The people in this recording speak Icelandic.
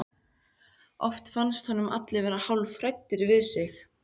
Oft fannst honum allir vera hálfhræddir við sig.